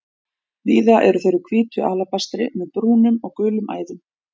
Víða eru þeir úr hvítu alabastri með brúnum og gulum æðum.